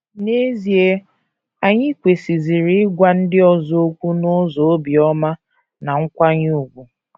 N’ezie, anyị kwesịziri ịgwa ndị ọzọ okwu n’ụzọ obiọma na nkwanye ùgwù.